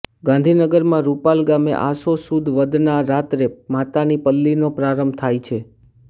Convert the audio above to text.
ગાંધીનગરમાં રૂપાલ ગામે આસો સુદ વદના રાત્રે માતાની પલ્લીનો પ્રારંભ થાય છે